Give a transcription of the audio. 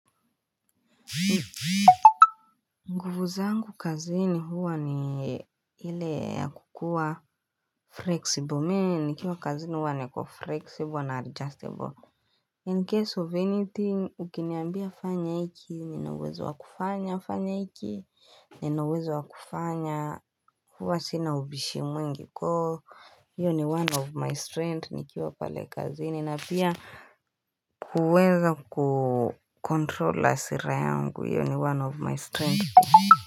Nguvu zangu kazini huwa ni ile ya kukua flexible me nikiwa kazini huwa niko flexible na adjustable In case of anything ukiniambia fanya iki Nina uwezo wa kufanya fanya iki Nina uwezo wa kufanya Huwa sina ubishi mwingi so hiyo ni one of my strength nikiwa pale kazini na pia kuweza kukontrol hasira yangu. Iyo ni one of my strength.